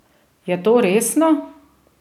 Je to resno?